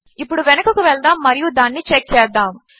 ఇప్పుడు వెనుకకు వెళదాము మరియు దానిని చెక్ చేద్దాము